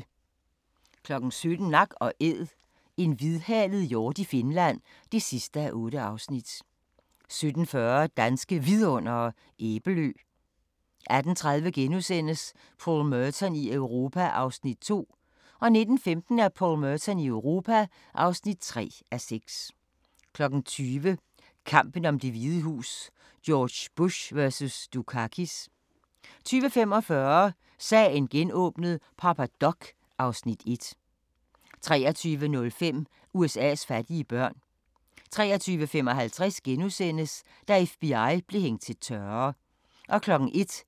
17:00: Nak & Æd – en hvidhalet hjort i Finland (8:8) 17:40: Danske Vidundere: Æbelø 18:30: Paul Merton i Europa (2:6)* 19:15: Paul Merton i Europa (3:6) 20:00: Kampen om Det Hvide Hus: George Bush vs. Dukakis 20:45: Sagen genåbnet: Papa Doc (Afs. 1) 23:05: USA's fattige børn 23:55: Da FBI blev hængt til tørre * 01:10: